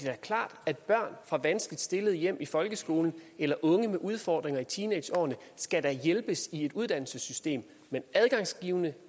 da klart at børn fra vanskeligt stillede hjem i folkeskoleloven eller unge med udfordringer i teenageårene skal hjælpes i et uddannelsessystem men adgangsgivende